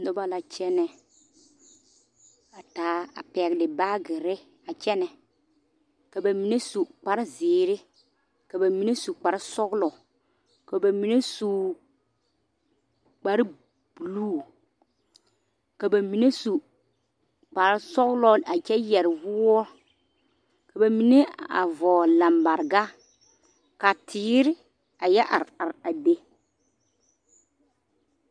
Noba la kyɛnɛ a taa a pɛgle baagere a kyɛnɛ ka ba mine su kparre zeere ka ba mine su kparre sɔglɔ ka ba mine kparre buluu ka ba mine su kparre sɔglɔ a kyɛ yɛre woɔ ka ba mine a vɔgle lambareka ka teere yɔ are are a be.